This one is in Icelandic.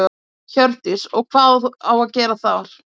Hjördís: Og hvað á að gera þar?